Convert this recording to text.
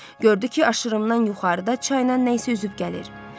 Gördü ki, aşırımdan yuxarıda çaynan nə isə üzüb gəlir.